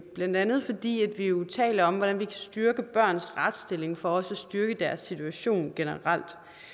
blandt andet fordi vi jo taler om hvordan vi kan styrke børns retsstilling for også at styrke deres situation generelt